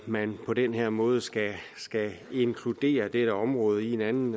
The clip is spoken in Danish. man på den her måde skal skal inkludere dette område i en anden